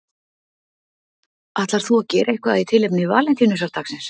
Ætlar þú að gera eitthvað í tilefni Valentínusardagsins?